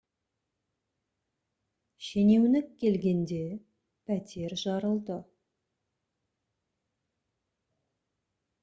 шенеунік келгенде пәтер жарылды